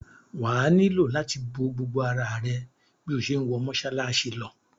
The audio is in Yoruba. Wà á nílò láti bo gbogbo ara rẹ bí o ṣe ń wọ mọ́ṣáláṣí lọ.